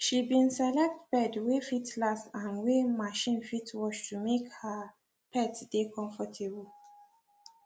she been select bed wey fit last and wey machine fit wash to make her pet dey comfortable